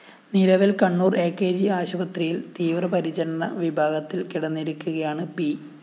നിലവില്‍ Kannur‍ A K G ആശുപത്രിയില്‍ തീവ്രപരിചരണ വിഭാഗത്തില്‍ കിടന്നിരിക്കുകയാണ് പി